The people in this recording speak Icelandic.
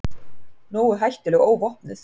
Nógu hættuleg óvopnuð.